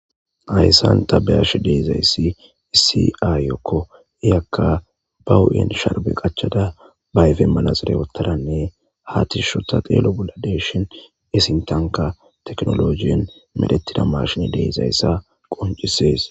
Hayssan ta beyash deizayssi isi7ayyokko iyakka bahu7en sharbe qachchada bayfe manaxire wottadanne haatishsho ta xeelo bula deshin esintanka teknolojiyon medhettida marshin deizayssa qoncisees